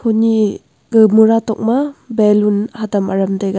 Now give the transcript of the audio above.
koni ga mura tok ma balloon hatam aram taiga.